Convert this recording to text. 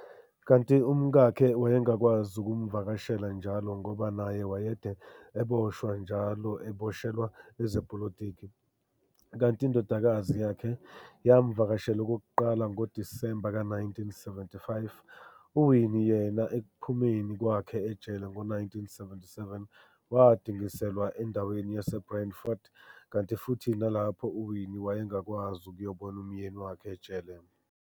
Kanti umkakhe wayengakwazi ukumvakashela njalo ngoba naye wayede eboshwa njalo eboshelwa ezepolitiki, kanti indodakazi yakhe, yamvakashela okokuqala ngoDisemba ka-1975, uWinnie yena ekuphumeni kwakhe ejele ngo-1977, wadingiselwa endaweni yase-Brandfort, kanti futhi nalapho uWinnie wayengakwazi ukuyobona umyeni wakhe ejele.